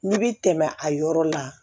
N'i bi tɛmɛ a yɔrɔ la